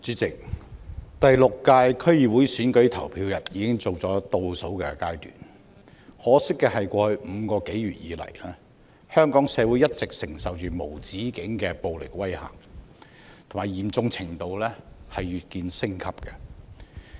主席，第六屆區議會選舉投票日已經進入倒數階段，可惜的是，過去5個多月以來，香港社會一直承受着無止境的暴力威嚇，嚴重程度越見升級。